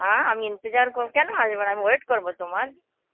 অ্যাঁ, আমি Hindi কর, কেন আসবেনা, আমি wait করবো তোমার.